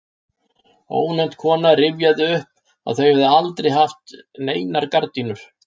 Ónefnd kona rifjaði upp að þau hefðu aldrei haft neinar gardínur.